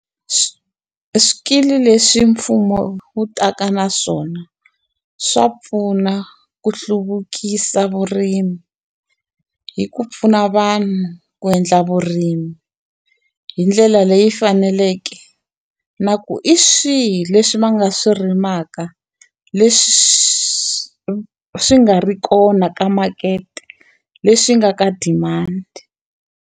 Swikili leswi mfumo wu taka na swona, swa pfuna ku hluvukisa vurimi hi ku pfuna vanhu ku endla vurimi hi ndlela leyi faneleke. Na ku hi swihi leswi va nga swi rimaka leswi swi nga ri kona ka makete, leswi nga ka demand.